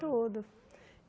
Todo.